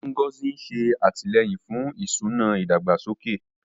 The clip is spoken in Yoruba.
Ngozi ń ṣe àtìlẹ́yìn fún ìṣúná ìdàgbàsókè.